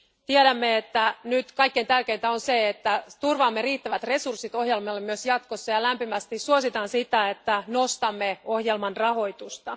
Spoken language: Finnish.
Tiedämme, että nyt kaikkein tärkeintä on se, että turvaamme riittävät resurssit ohjelmalle myös jatkossa, ja lämpimästi suositan sitä, että nostamme ohjelman rahoitusta.